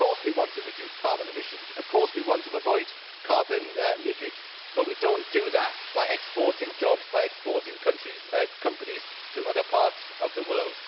Of course we want to reduce carbon emissions, of course we want to avoid carbon leakage but we do not do that by exporting jobs and by exporting companies to other parts of the world.